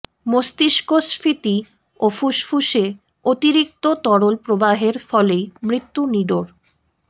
মস্তিষ্কস্ফীতি ও ফুসফুসে অতিরিক্ত তরল প্রবাহের ফলেই মৃত্যু নিডোর